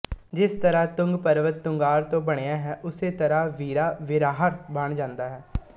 ਜਿਸ ਤਰ੍ਹਾਂ ਤੁੰਗ ਪਰਵਤ ਤੁੰਗਾਅਰ ਤੋਂ ਬਣਿਆ ਹੈ ਉਸੇ ਤਰ੍ਹਾਂ ਵੀਰਾ ਵੀਰਾਅਰ ਬਣ ਜਾਂਦਾ ਹੈ